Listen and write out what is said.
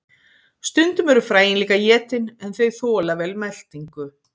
Stundum eru fræin líka étin en þau þola vel meltingu.